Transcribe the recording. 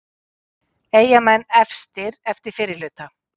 Eyjamenn efstir eftir fyrri hluta